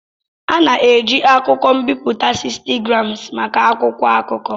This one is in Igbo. A na-eji akụkọ m'biputa 60gms maka akwụkwọ akụkọ.